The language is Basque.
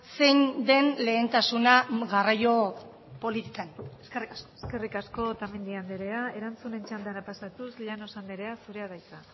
zein den lehentasuna garraio politikan eskerrik asko eskerrik asko otamendi andrea erantzunen txandara pasatuz llanos andrea zurea da hitza